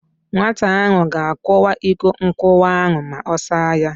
Nwata ahụ ga-akụwa iko nkụwa ahụ ma ọ saa ya.